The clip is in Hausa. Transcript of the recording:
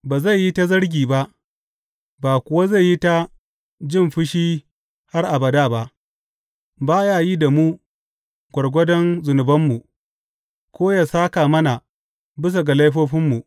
Ba zai yi ta zargi ba ba kuwa zai yi ta jin fushi har abada ba; ba ya yin da mu gwargwadon zunubanmu ko yă sāka mana bisa ga laifofinmu.